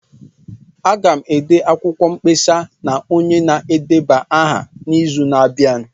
Aga m ede akwụkwọ mkpesa na onye na-edeba aha n'izu na-abịa.